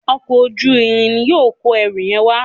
Ọkọ̀ ojú-irin ní yóò kọ ẹrù yen wá.